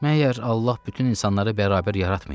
Məyər Allah bütün insanları bərabər yaratmayıb?